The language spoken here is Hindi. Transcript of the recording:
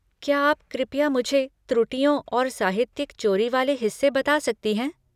क्या आप कृपया मुझे त्रुटियों और साहित्यिक चोरी वाले हिस्से बता सकती हैं?